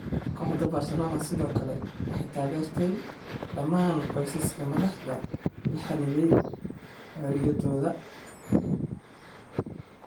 Kooxda Barcelona sidoo kale waxay taageertay dhammaan qoysaska madaxda la xanibay xorriyadooda.